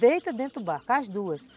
Deita dentro do barco, as duas.